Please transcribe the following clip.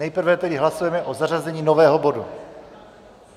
Nejprve tedy hlasujeme o zařazení nového bodu.